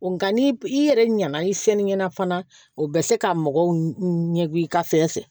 Nga ni i yɛrɛ ɲa na i seli ɲɛna fana o bɛ se ka mɔgɔw ɲɛgegu i ka fɛn fɛ